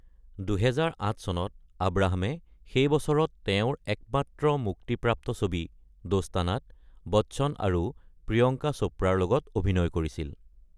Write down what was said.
২০০৮ চনত আব্ৰাহামে সেই বছৰত তেওঁৰ একমাত্ৰ মুক্তিপ্ৰাপ্ত ছবি ‘দোস্তানা’ত বচ্চন আৰু প্ৰিয়ংকা চোপ্ৰাৰ লগত অভিনয় কৰিছিল।